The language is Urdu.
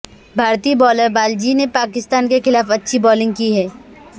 بھارتی بولر بالاجی نے پاکستان کے خلاف اچھی بولنگ کی ہے